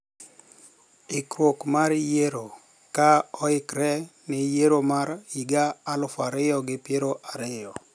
Ikruok mar yiero ka oikre ne yiero mar higa aluf ariyo gi pier ariyo